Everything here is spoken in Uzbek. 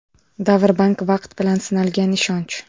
Davr Bank Vaqt bilan sinalgan ishonch!